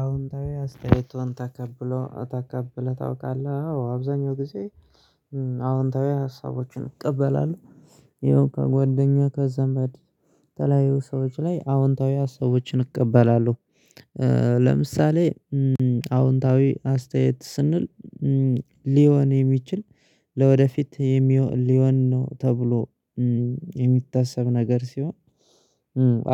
አዎንታዊ አስተያየት ተቀብለው ተቀብለህ ታውቃለህ አዎ አብዛኛው ጊዜ አዎንታዊ ሀሳቦችን እቀበላለሁ ይኸው ከጓደኛ ከዘመድ ተለያዩ ሰዎች ላይ አዎንታዊ ሰዎችን እቀበላለሁ። ለምሳሌ አዎንታዊ አስተያየት ስንል ሊሆን የሚችል ለወደፊት ሊሆን ነው። ተብሎ ነገር ሲሆን